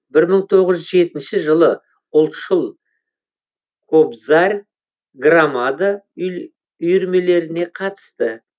бір мың тоғыз жүз жетінші жылы ұлтшыл кобзарь громада үйірмелеріне қатысты